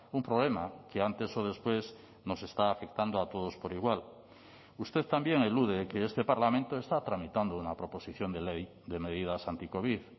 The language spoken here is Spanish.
un problema que antes o después nos está afectando a todos por igual usted también elude que este parlamento está tramitando una proposición de ley de medidas anticovid